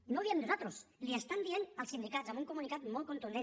i no ho diem nosaltres l’hi estan dient els sindicats amb un comunicat molt contundent